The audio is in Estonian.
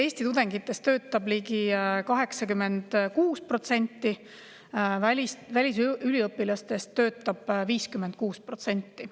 Eesti tudengitest töötab ligi 86%, välisüliõpilastest töötab 56%.